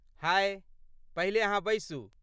हाय, पहिले अहाँ बैसू।